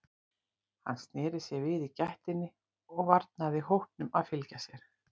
Hann sneri sér við í gættinni og varnaði hópnum að fylgja sér.